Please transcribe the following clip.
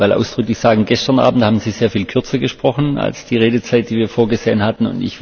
Aber ich will ausdrücklich sagen Gestern Abend haben Sie sehr viel kürzer gesprochen als die Redezeit, die wir vorgesehen hatten.